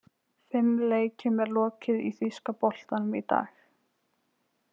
Fimm leikjum er lokið í þýska boltanum í dag.